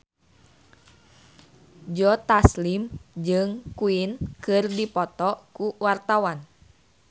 Joe Taslim jeung Queen keur dipoto ku wartawan